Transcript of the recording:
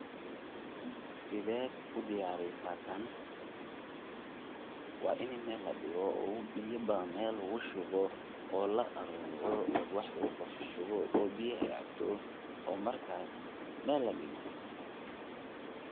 Wa inii mel ladigo oo biyo badan mel lugushubo oo laaruro oo wax lugukorshuwo oo biyaha ey cabto oo markas meel ladigo.